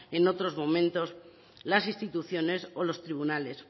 en otros momentos las instituciones o los tribunales